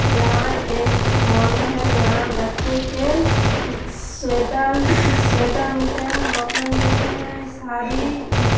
यहाँ एक मॉल है यहाँ बच्चे के स्वेटर स्वेटर मिलते हैं मफलर मिलते हैं साड़ी --